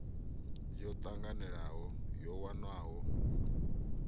yo tanganelaho yo wanwaho u